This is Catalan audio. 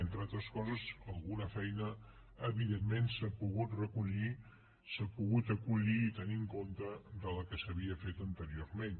entre altres coses alguna feina evidentment s’ha pogut recollir s’ha pogut acollir i tenir en compte de la que s’havia fet anteriorment